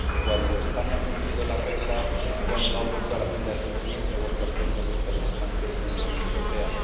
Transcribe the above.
Cuando España ha cumplido las reglas es cuando ha vuelto a la senda del crecimiento, ha vuelto a ser uno de los países que más crece en la Unión Europea.